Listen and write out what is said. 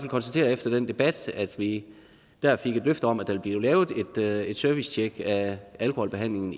konstatere efter den debat at vi der fik et løfte om at der ville blive lavet et et servicetjek af alkoholbehandlingen